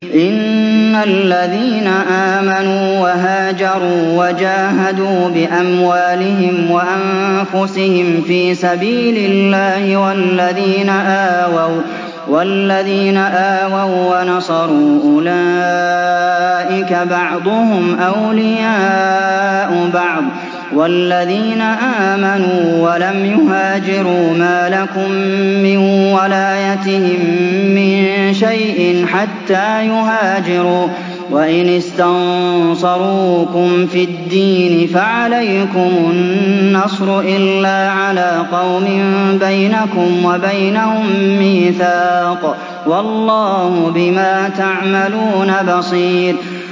إِنَّ الَّذِينَ آمَنُوا وَهَاجَرُوا وَجَاهَدُوا بِأَمْوَالِهِمْ وَأَنفُسِهِمْ فِي سَبِيلِ اللَّهِ وَالَّذِينَ آوَوا وَّنَصَرُوا أُولَٰئِكَ بَعْضُهُمْ أَوْلِيَاءُ بَعْضٍ ۚ وَالَّذِينَ آمَنُوا وَلَمْ يُهَاجِرُوا مَا لَكُم مِّن وَلَايَتِهِم مِّن شَيْءٍ حَتَّىٰ يُهَاجِرُوا ۚ وَإِنِ اسْتَنصَرُوكُمْ فِي الدِّينِ فَعَلَيْكُمُ النَّصْرُ إِلَّا عَلَىٰ قَوْمٍ بَيْنَكُمْ وَبَيْنَهُم مِّيثَاقٌ ۗ وَاللَّهُ بِمَا تَعْمَلُونَ بَصِيرٌ